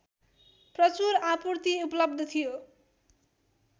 प्रचुर आपूर्ति उपलब्ध थियो